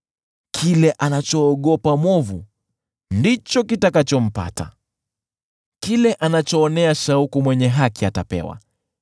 Kile anachoogopa mwovu ndicho kitakachompata; kile anachoonea shauku mwenye haki atapewa.